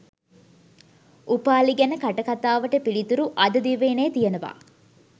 උපාලි ගැන කටකතාවට පිළිතුරු අද දිවයිනේ තියෙනවා